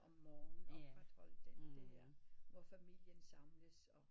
Om morgenen og opretholde den der hvor familien samles og